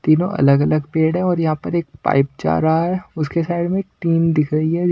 तीनों अलग-अलग पेड़ है और यहां पर एक पाइप जा रहा है उसके साइड में टीन दिख रही है।